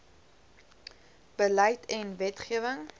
beleid en wetgewing